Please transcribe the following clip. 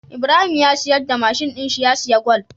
Ibrahim ya siyar da mashin din shi ya siya gwal